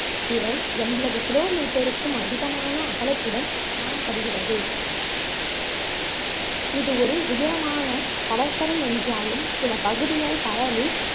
இவை எண்பது kilometer ருக்கும் அதிகமாக அகலத்துடன் காணப்படுகிறது இது ஒரு உயரமான கடற்கரை என்றாலும் சில பகுதிகள் கடலில்